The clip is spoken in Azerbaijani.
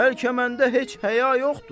Bəlkə məndə heç həya yoxdur.